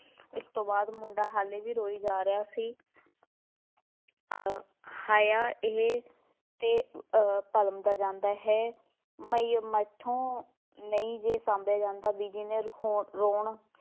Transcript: ਇਸ ਤੋਂ ਬਾਅਦ ਮੁੰਡਾ ਹਾਲੇ ਵੀ ਰੋਈ ਜਾ ਰਿਹਾ ਸੀ ਅਹ ਹਾਇਆ ਇਹ ਅਤੇ ਅਹ ਭਰਮਦਾ ਜਾਂਦਾ ਹੈ ਮੈਥੋਂ ਨਹੀਂ ਜੇ ਸ਼ਾਂਭਿਆ ਜਾਂਦਾ, ਬੀਜੀ ਨੇ ਹੋ~ ਰੌਣ